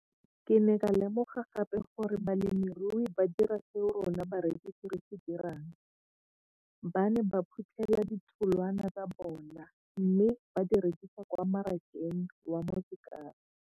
Ke ne ka lemoga gape gore balemirui ba dira seo rona barekisi re se dirang, ba ne ba phuthela ditholwana tsa bona mme ba di rekisa kwa marakeng wa Motsekapa.